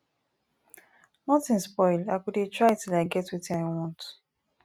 nothing spoil i go dey try till i get wetin i want